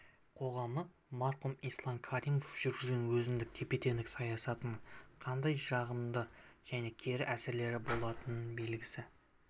қоғамы марқұм ислам каримов жүргізген өзіндік тепе-теңдік саясатының қандай жағымды және кері әсерлері болатынын білгісі